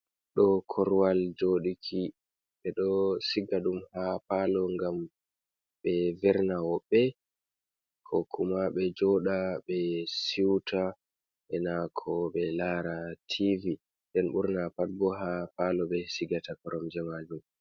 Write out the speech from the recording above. Ɗo korwal jooɗuki ɓe ɗo siga ɗum ha paalo ngam ɓe verna hoɓɓe, ko kuma be jooɗa be seuta be nako ɓe laara tv. Nden ɓurna pat bo ha paalo ɓe siigata koromje majum